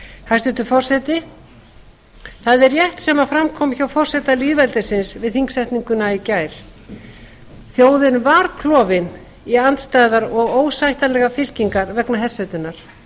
hæstvirtur forseti það er rétt sem fram kom hjá forseta lýðveldisins við þingsetninguna í gær þjóðin var klofin í andstæðar og ósættanlegar fylkingar vegna hersetunnar